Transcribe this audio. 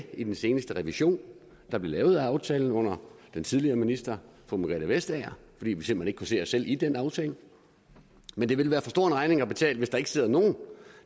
i den seneste revision da vi lavede aftalen under den tidligere minister fru margrethe vestager fordi vi simpelt kunne se os selv i den aftale men det vil være for stor en regning at betale hvis der ikke sidder nogen